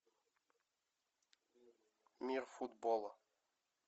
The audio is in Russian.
мир футбола